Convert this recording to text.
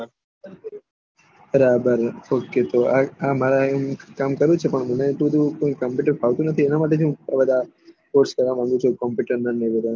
બરાબર ઓકે તો આ મારા હું કામ કરું છું પણ મને થોડું કોમ્પુટર ફાવતું નથી એના માટે હું બધા કોમ્પુટર ને બધા